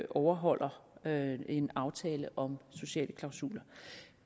overholder en aftale om sociale klausuler